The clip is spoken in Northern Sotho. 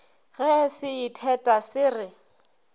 ge se itheta se re